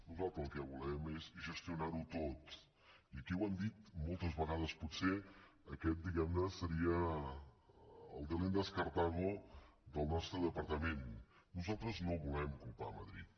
nosaltres el que volem és gestionar ho tot i aquí ho hem dit moltes vegades potser aquest diguem ne seria el delenda est carthagonosaltres no volem culpar madrid